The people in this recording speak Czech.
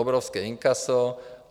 Obrovské inkaso.